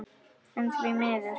En því miður.